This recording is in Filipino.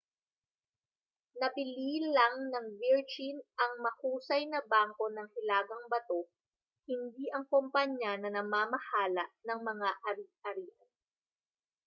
nabili lang ng virgin ang ‘mahusay na bangko’ ng hilagang bato hindi ang kompanya na namamahala ng mga ari-arian